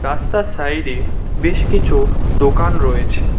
রাস্তার সাইডে বেশ কিছু দোকান রয়েছে।